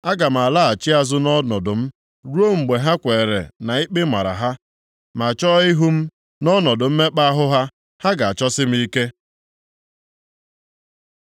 Aga m alaghachi azụ nʼọnọdụ m, ruo mgbe ha kweere na ikpe mara ha, ma chọọ ihu m; nʼọnọdụ mmekpa ahụ ha, ha ga-achọsi m ike.”